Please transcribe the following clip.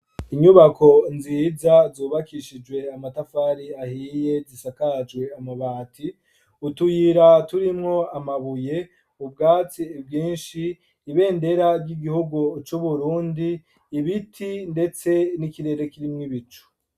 Inyubako nziza zubakishijwe amatafari ahiye, zisakajwe amabati, utuyira turimwo amabuye, ubwatsi bwinshi, ibendera ry'igihugu c'Uburundi, ibiti, ndetse n'ikirere karimwo ibicu.